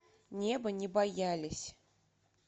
неба не боялись